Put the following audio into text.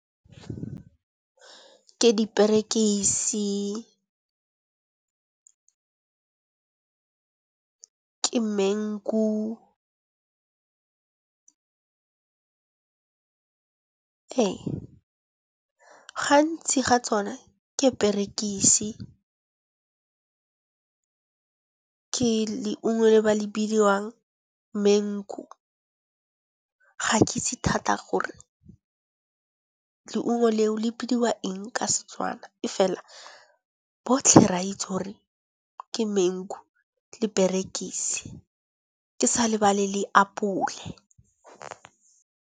Ke diperekisi, ke mengu . Ee gantsi ga tsone ke berekise, ke leungo le ba le bidiwang mengu. Ga ke itsi thata gore leungo leo le bidiwa eng ka setswana, e fela botlhe re a itse gore ke mengu le perekisi ke sa lebale le apole.